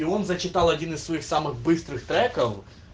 и он зачитал один из своих самых быстрых треков